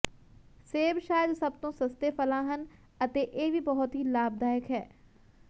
ਸੇਬ ਸ਼ਾਇਦ ਸਭ ਤੋਂ ਸਸਤੇ ਫਲਾਂ ਹਨ ਅਤੇ ਇਹ ਵੀ ਬਹੁਤ ਹੀ ਲਾਭਦਾਇਕ ਹੈ